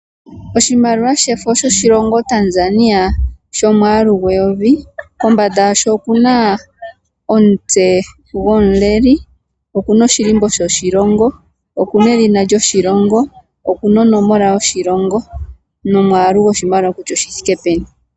Oshimaliwa shefo shoshilongo Tanzania shomwaalu gweyovi, kombanda yasho okuna omutse gomuleli, oku na oshilimbo shoshilongo, oku na edhina lyoshilongo, oku na onomola yoshilongo nomwaalu goshimaliwa kutya oshi thike peni.